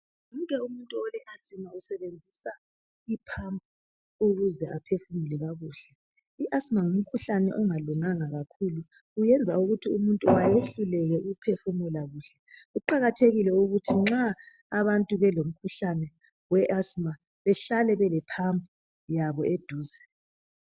umuntu ole asmtha usebenzisa i pump ukuze aphefumule kakuhle i asthma ngumkhuhlane ongalunganga kakhulu uyenza ukuthi umuntu ayehluleke ukuphefumula kuhle kuqakathekile ukuthi abantu belomkhuhlane we asthma behlale bele pump yabo eduze